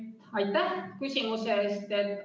Aitäh küsimuse eest!